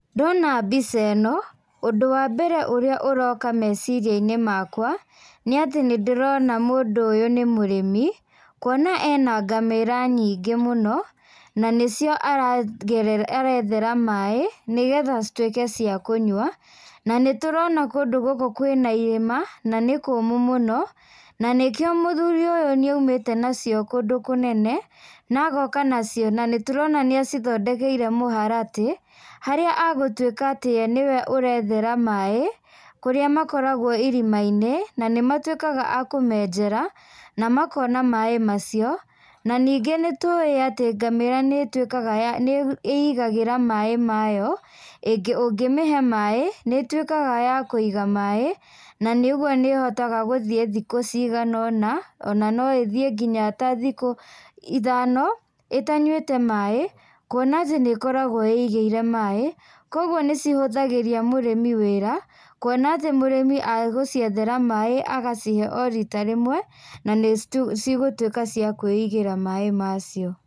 Ndona mbica ĩno, ũndũ wa mbere ũrĩa ũroka meciria-inĩ makwa, nĩ atĩ nĩndĩrona mũndũ ũyũ nĩ mũrĩmi, kuona ena ngamĩra nyingĩ mũno na nĩcio arethera maĩ nĩ getha cituĩke ciakũnyua, na nĩ tũrona kũndũ gũkũ kwĩna irĩma, na nĩ kũmũ mũno na nĩkĩo mũthuri ũyũ nĩ aumĩte nacio kũndũ kũnene na agoka nacio na nĩtũrona nĩ acithondekeire mũharatĩ harĩa egũtuĩka atĩ we nĩwe ũrethera maĩ kũrĩa makoragwo irima-inĩ na nĩmatuĩkaga a kũmenjera na makona maĩ macio na ningĩ nĩtũĩ atĩ ngamĩra nĩĩigagĩra maĩ mayo, ũngĩ mĩhe maĩ, nĩ ĩtuĩkaga ya kũiga maĩ nanĩũguo nĩ ĩhotaga gũthiĩ thikũ cigana ona, ona no ĩthiĩ nginya ta thikũ ithano ĩtanyuĩte maĩ kuona atĩ nĩ-ĩkoragwo ĩigĩire maĩ. Kũoguo nĩ cihũthagĩria mũrĩmi wĩra, kuona atĩ mũrĩmi egũciethera maĩ agacihe o rita rĩmwe na nĩ cigũtuĩka ciakwĩigĩra maĩ macio.